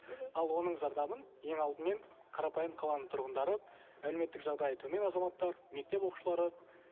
мхм ал оның зардабын ең алдымен қарапайым қаланың тұрғындары әлеуметтік жағдайы төмен азаматтар мектеп оқушылары